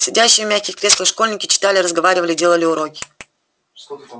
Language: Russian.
сидящие в мягких креслах школьники читали разговаривали делали уроки